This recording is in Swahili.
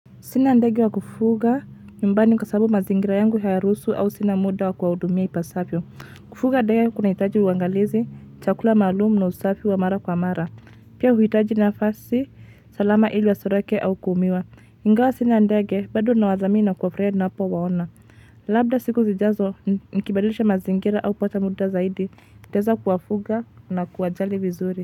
Sina ndege wa kufuga, nyumbani kwasababu mazingira yangu hayaruhusu au sina muda wa kuwahudumia ipasavyo. Kufuga ndege kuna hitaji uangalizi, chakula maalumu na usafi wa mara kwa mara. Pia huitaji nafasi, salama ili wasiruke au kuumia. Ingawa sina ndege, bado ninawathamini kuwafurahia ninapo waona. Labda siku zijazo, nikibadilisha mazingira au kupata muda zaidi, nitaweza kuwafuga na kuwajali vizuri.